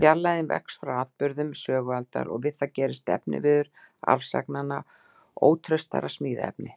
Fjarlægðin vex frá atburðum sögualdar, og við það gerist efniviður arfsagnanna ótraustara smíðaefni.